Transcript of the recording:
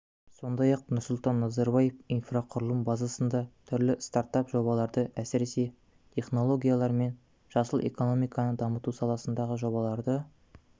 сондай-ақ нұрсұлтан назарбаев инфрақұрылымы базасында түрлі стартап жобаларды әсіресе технологиялар мен жасыл экономиканы дамыту саласындағы жобаларды